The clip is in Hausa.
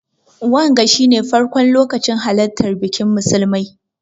Wanga shi ne farkon lokacin halartan bikin musulmai.